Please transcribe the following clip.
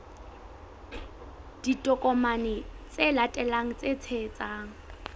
ditokomane tse latelang tse tshehetsang